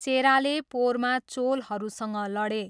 चेराले पोरमा चोलहरूसँग लडे।